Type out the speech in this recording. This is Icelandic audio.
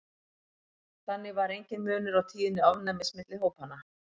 þannig var enginn munur á tíðni ofnæmis milli hópanna